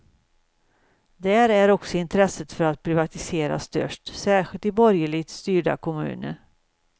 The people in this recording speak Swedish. Där är också intresset för att privatisera störst, särskilt i borgerligt styrda kommuner.